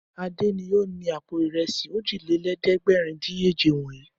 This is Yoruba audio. Adé ni ó ni àpò ìrẹsì òjìlélẹ́ẹ̀dẹ́gbẹ̀rúndínèje wọ̀nyí.